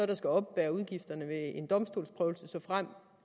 der skal oppebære udgifterne ved en domstolsprøvelse såfremt